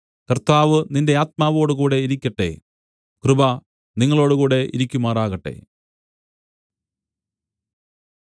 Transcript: കർത്താവ് നിന്റെ ആത്മാവോടുകൂടെ ഇരിക്കട്ടെ കൃപ നിങ്ങളോടുകൂടെ ഇരിക്കുമാറാകട്ടെ